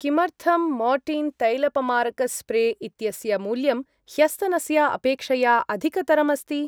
किमर्थं मोर्टीन् तैलपमारक स्प्रे इत्यस्य मूल्यं ह्यस्तनस्य अपेक्षया अधिकतरम् अस्ति?